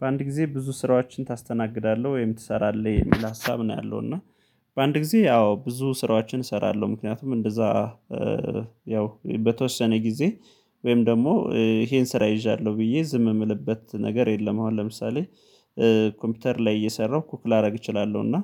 በአንድ ጊዜ ብዙ ስራዎችን ታስተናግዳለህ ወይም ትሰራለህ የሚል ሀሳብ ነው ያለው፤ እና በአንድ ጊዜ ያው ብዙ ስራችን እሰራለሁ። ምክንያቱም እንደዛ ያው በተወሰነ ጊዜ ወይም ደግሞ ይሄን ስራ ይዣለሁ ብዬ ዝም የምልበት ነገር የለም። አሁን ለምሳሌ ኮምፒውተር ላይ እየሰራሁ ኩክ ላደርግ እችላለሁ። እና